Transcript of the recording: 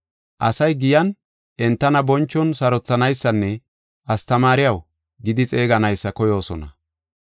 Asay giyan entana bonchon sarothanaysanne ‘Astamaariyaw’ gidi xeeganaysa koyoosona.